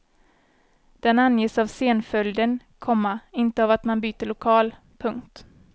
Den anges av scenföljden, komma inte av att man byter lokal. punkt